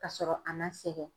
Ka sɔrɔ a ma sɛgɛn.